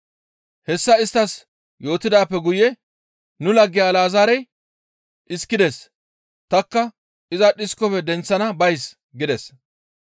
Hessa isttas yootidaappe guye, «Nu lagge Alazaarey dhiskides; tanikka iza dhiskofe denththana bays» gides.